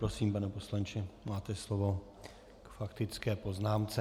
Prosím, pane poslanče, máte slovo k faktické poznámce.